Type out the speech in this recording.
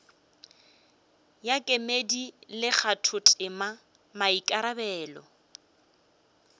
ya kemedi le kgathotema maikarabelo